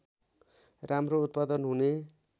राम्रो उत्पादन हुने